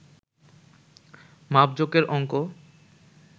মাপজোকের অংক